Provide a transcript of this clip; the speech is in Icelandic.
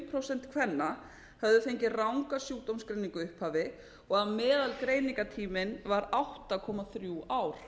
prósent kvenna höfðu fengið ranga sjúkdómsgreiningu í upphafi og meðalgreiningartíminn var átta komma þrjú ár